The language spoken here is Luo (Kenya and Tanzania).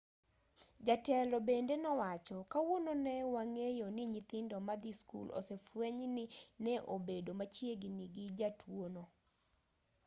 jatelo bende nowacho kawuono ne wang'eyoni nyithindo madhii skul osefwenyni ne obedo machiegini gi jatuono